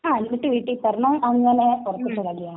ങാ...എന്നിട്ട് വീട്ടിൽ പറഞ്ഞു, അങ്ങനെ ഉറപ്പിച്ച കല്യാണാ.